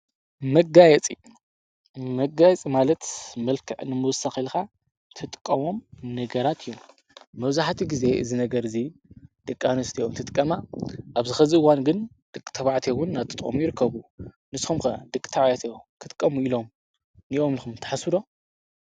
መጋይፂ-መጋየፂ ማለት መልከ ንምውሳኽ ኢልካ ትጥቀሞ ነገራት እዩም፡፡ መብዛሕትኡ ጊዜ እዚ ነገር እዙይ ደቂ ኣንስትዮ እንትጥቀማ ኣብዚ ከዚ እዋን ግን ደቂ ተባዕትዮ እውን እናተጠቐሙ ይርከቡ፡፡ ንስኹም ከ ደቂ ተባዕትዮ ክጥቀሙ እዮም ኢልኩም ትሓስቡ ዶ?